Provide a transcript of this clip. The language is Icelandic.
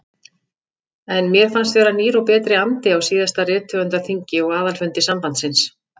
En mér fannst vera nýr og betri andi á síðasta rithöfundaþingi og aðalfundi sambandsins.